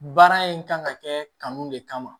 Baara in kan ka kɛ kanu de kama